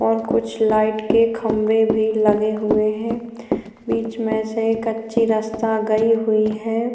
और कुछ लाइट के खम्बे भी लगे हुए है बीच में से कच्ची रस्ता गयी हुई है।